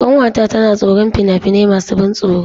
Ƙanwata tana tsoron fina-finai masu ban tsoro.